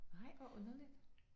Ej hvor underligt